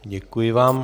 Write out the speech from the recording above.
Děkuji vám.